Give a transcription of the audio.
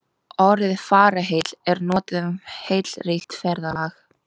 Orðið fararheill er notað um heillaríkt ferðalag.